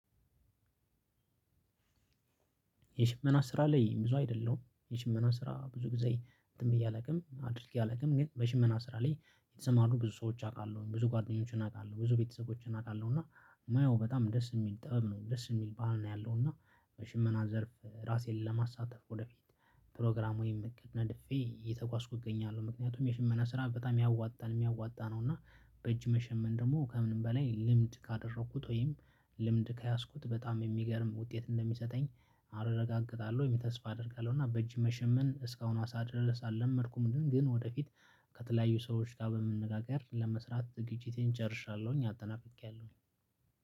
የሽመና ስራ ላይ ብዙ አይደለሁም የሽመና ስራ ብዙ ጊዜ እንትን ብዬ አላውቅም አድርጌ አላውቅም። ግን በሽመና ስራ ላይ የተሰማሩ ብዙ ሰዎች አውቃለሁ ብዙ ጓደኞችን አውቃለሁ ብዙ ቤተሰቦችን አውቃለሁ እና ማየው በጣም ደስ የሚል ጥበብ ነው ደስ የሚል ባህል ነው። ያለው እና በሽመና ዘርፍ ራሴን ለማሳተፍ ወደፊት ፕሮግራም ወይም እቅድ ነድፌ እየተጓዝኩ እገኛለሁ ምክንያቱም የሽመና ስራ በጣም ያዋጣል እሚያዋጣ ነው። እና በእጅ መሸመን ደግሞ ከምንም በላይ ልምድ ካደረኩት ወይም ልምድ ከያዝኩት በጣም የሚገርም ውጤት እንደሚሰጠኝ አረጋግጣለሁ ወይም ተስፋ አደርጋለሁ። እና በእጅ መሸመን እስካሁኗ ሰዓት ድረስ አልለመድኩም። ግን ወደፊት ከተለያዩ ሰዎች ጋር በመነጋገር ለመስራት ዝግጅቴን ጨርሻለሁኝ አጠናቅቄያለሁኝ።